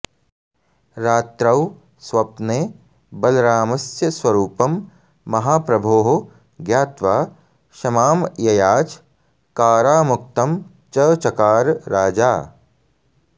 रात्रौ स्वप्ने बलरामस्य स्वरूपं महाप्रभोः ज्ञात्वा क्षमां ययाच कारामुक्तं च चकार राजा